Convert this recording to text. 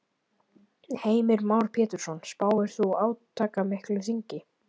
Heimir Már Pétursson: Spáir þú átakamiklu þingi?